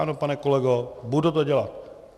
Ano, pane kolego, budu to dělat.